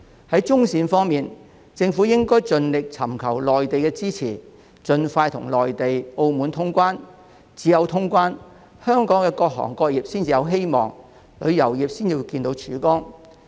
在中線方面，政府應盡力尋求內地支持，務求盡快與內地和澳門通關，因為只有通關，香港各行各業才會有希望，旅遊業才會看到曙光。